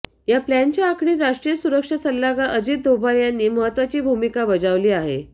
या प्लानच्या आखणीत राष्ट्रीय सुरक्षा सल्लागार अजित दोभाल यांनी महत्वाची भूमिका बजावली आहे